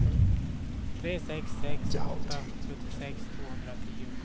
tre sex sex åtta sjuttiosex tvåhundratio